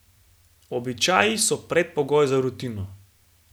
Običaji so predpogoj za rutino.